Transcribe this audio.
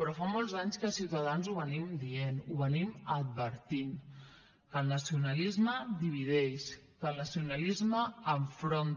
però fa molts anys que ciutadans ho diem ho advertim que el nacionalisme divideix que el nacionalisme enfronta